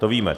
To víme.